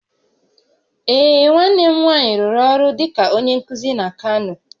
Ee, nwanne m nwanyị rụrụ ọrụ dịka onye nkuzi na Kano